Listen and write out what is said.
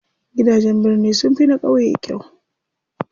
Gidajen birni sunfi na ƙauye kyau.